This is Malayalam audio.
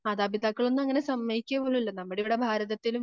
മാതാപിതാക്കളൊന്നും അങ്ങനെയൊന്നും സമ്മയിക്കപോലുമില്ല നമ്മടിവിടെ ഭാരതത്തിലും